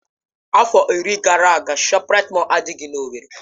Afọ iri gara aga ShopRite Mọll adịghị n'Owerri.